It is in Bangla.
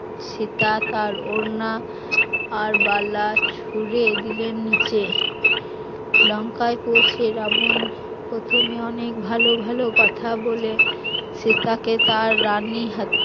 সীতা তার ওড়না আর বালা ছুড়ে দিলেন নিচে, লঙ্কায় পৌঁছে রাবণ প্রথমে অনেক ভালো ভালো কথা বলে সে সীতাকে তার রানীর খাটে